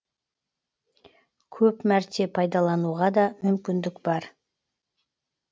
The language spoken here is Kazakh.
көп мәрте пайдалануға да мүмкіндік бар